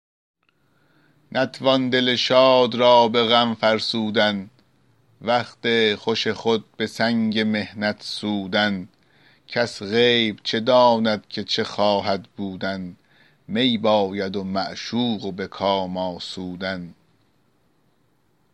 نتوان دل شاد را به غم فرسودن وقت خوش خود به سنگ محنت سودن کس غیب چه داند که چه خواهد بودن می باید و معشوق و به کام آسودن